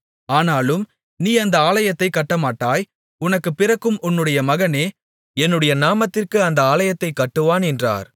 ஆனாலும் நீ அந்த ஆலயத்தைக் கட்டமாட்டாய் உனக்கு பிறக்கும் உன்னுடைய மகனே என்னுடைய நாமத்திற்கு அந்த ஆலயத்தைக் கட்டுவான் என்றார்